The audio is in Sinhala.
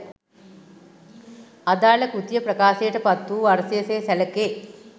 අදාළ කෘතිය ප්‍රකාශයට පත් වූ වර්ෂය සේ සැළකේ